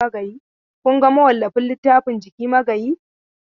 Kun ga mawallafin littafin Jiki Magayi?